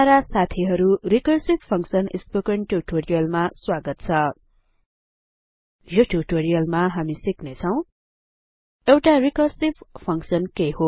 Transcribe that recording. para साथीहरु recursive function spoken ट्युटोरियलमा स्वागत छ यो ट्युटोरियलमा हामी सिक्ने छौं एउटा रिकर्सिभ फंक्सन के हो